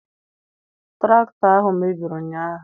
Tụraktọ ahụ mebiri ụnyaahụ.